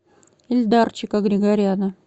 ильдарчика григоряна